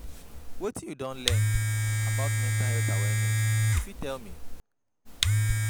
Wetin you don learn about mental health awareness, you fit tell me?